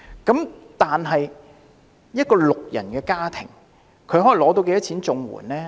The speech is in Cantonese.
那麼，一個六人家庭可獲發多少綜援金？